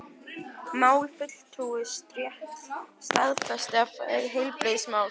mál,-fulltrúi,-stétt starfsstétt sem fæst við heilbrigðismál